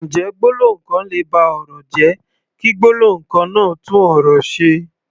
Ǹjẹ́ gbólóhùn kan lè ba ọ̀rọ̀ jẹ́, kí gbólóhùn kan náà tún ọ̀rọ̀ ṣe?